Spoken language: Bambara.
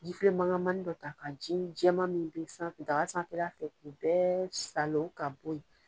Jifilen mankanmani dɔ ta ka ji jɛman min bɛ sanfɛ daga sanfɛla fɛ k'u bɛɛ salon ka bɔ yen.